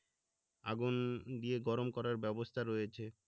আগুন দিয়ে গরম করার ব্যবস্থা রয়েছে